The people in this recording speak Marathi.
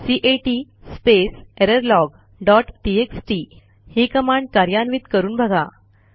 cat space error log dot TXT ही कमांड कार्यान्वित करून बघा